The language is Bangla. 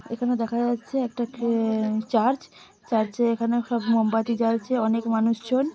এখানে দেখা যাচ্ছে একটা ট্রে-- চার্চ। চার্চ এ এখানে সব মোমবাতি জ্বলছে অনেক মানুষজন--